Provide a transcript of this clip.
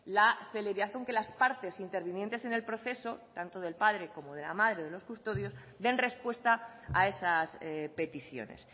la celeridad aunque las partes intervinientes en el proceso tanto del padre como de la madre o de los custodios den respuesta a esas peticiones